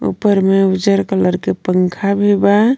उपर में उज्जर कलर के पंखा भी बा.